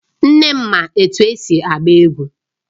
Nne m ma etu esi agba egwu